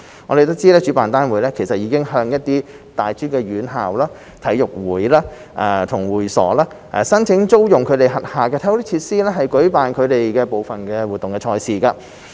我們得悉主辦單位已向一些大專院校、體育會和會所等申請租用其轄下體育設施以舉辦部分賽事。